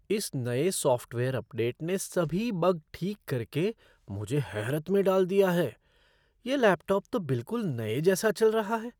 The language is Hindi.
इस नए सॉफ़्टवेयर अपडेट ने सभी बग ठीक करके मुझे हैरत में डाल दिया है। यह लैपटॉप तो बिल्कुल नए जैसा चल रहा है!